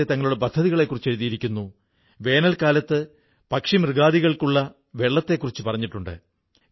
ഖാദിയുടെ പ്രചാരം വർധിക്കയാണ് അതോടൊപ്പം ലോകത്ത് പല ഇടങ്ങളിലും ഖാദി ഉണ്ടാക്കപ്പെടുകയും ചെയ്യുന്നുണ്ട്